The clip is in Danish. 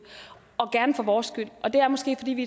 gerne for vores skyld og det er måske fordi vi